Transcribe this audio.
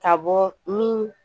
Ka bɔ ni